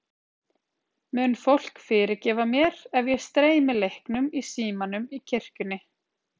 Mun fólk fyrirgefa mér ef ég streymi leiknum í símanum í kirkjunni?